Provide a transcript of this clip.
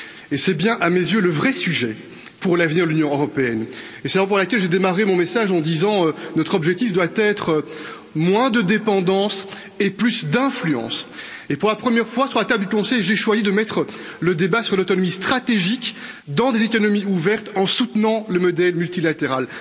Et c'est bien à mes yeux, le vrai sujet pour l'avenir de l'Union européenne et c'est la raison pour laquelle j'ai démarré mon message en déclarant que notre objectif devait être moins de dépendance et plus d'influence. Et pour la première fois, au Conseil, j'ai choisi de faire porter le débat sur l'autonomie stratégique dans des économies ouvertes en soutenant le modèle multilatéral.